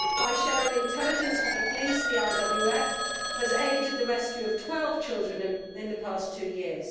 By sharing intelligence with the police, the IWF has aided the rescue of 12 children in the past two years.